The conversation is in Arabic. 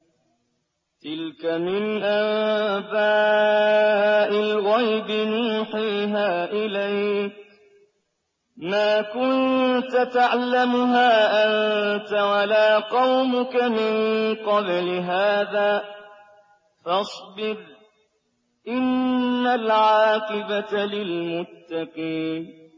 تِلْكَ مِنْ أَنبَاءِ الْغَيْبِ نُوحِيهَا إِلَيْكَ ۖ مَا كُنتَ تَعْلَمُهَا أَنتَ وَلَا قَوْمُكَ مِن قَبْلِ هَٰذَا ۖ فَاصْبِرْ ۖ إِنَّ الْعَاقِبَةَ لِلْمُتَّقِينَ